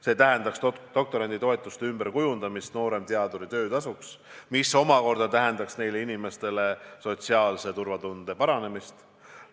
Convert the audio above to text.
See tähendaks doktoranditoetuse ümberkujundamist nooremteaduri töötasuks, mis omakorda tähendaks nendele inimestele sotsiaalse turvatunde suurenemist.